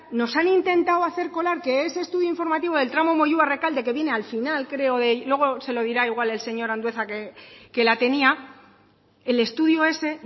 nos han intentado hacer colar que ese estudio informativo del tramo moyua rekalde que viene al final creo luego se lo dirá igual el señor andueza que la tenía el estudio ese